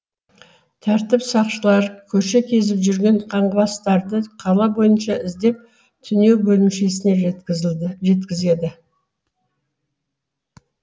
тәртіп сақшылары көше кезіп жүрген қаңғыбастарды қала бойынша іздеп түнеу бөлімшесіне жеткізеді